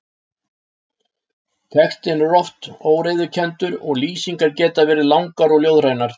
Textinn er oft óreiðukenndur og lýsingar geta verið langar og ljóðrænar.